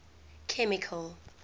chemical